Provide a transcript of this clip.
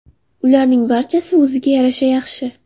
Ularning barchasi o‘ziga yarasha yaxshi.